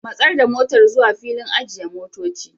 Matsar da motar zuwa filin ajiye motoci.